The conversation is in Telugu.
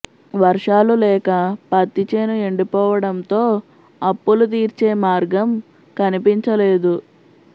వర్షాలు లేక పత్తి చేను ఎండిపోవడంతో అప్పులు తీర్చే మార్గం కనిపించలేదు